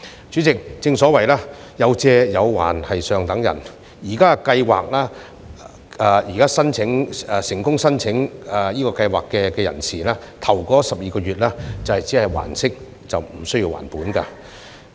主席，正所謂"有借有還是上等人"，現時計劃下成功申請的人士在首12個月只需要還息，無須還本。